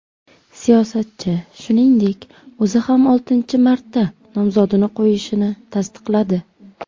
Siyosatchi, shuningdek, o‘zi ham oltinchi marta nomzodini qo‘yishini tasdiqladi.